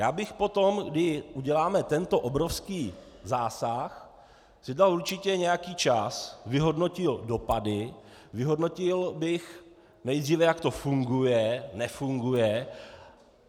Já bych poté, kdy uděláme tento obrovský zásah, si dal určitě nějaký čas, vyhodnotil dopady, vyhodnotil bych nejdříve, jak to funguje, nefunguje.